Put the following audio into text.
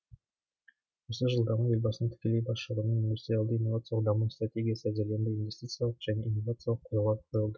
осы жылдарда елбасының тікелей басшылығымен индустриалды инновациялық даму стратегиясы әзірленді инвестициялық және инновациялық қорлар құрылды